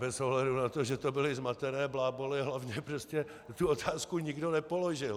Bez ohledu na to, že to byly zmatené bláboly, hlavně prostě tu otázku nikdo nepoložil.